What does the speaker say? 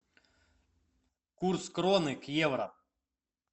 курс кроны к евро